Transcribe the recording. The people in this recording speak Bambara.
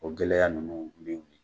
O gɛlɛya ninnu min be yen